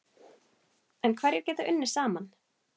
En hverjir geta unnið saman?